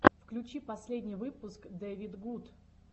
включи последний выпуск дэвидгуд